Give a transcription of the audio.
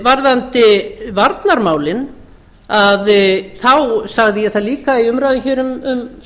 varðandi varnarmálin sagði ég það líka í umræðum hér um